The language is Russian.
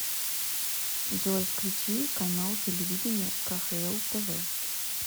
джой включи канал телевидения кхл тв